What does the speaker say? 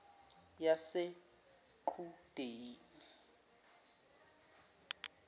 yaseqhudeni